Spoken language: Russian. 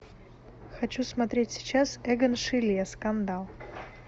хочу смотреть сейчас эгон шиле скандал